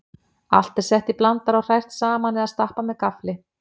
Allt er sett í blandara og hrært saman eða stappað með gaffli.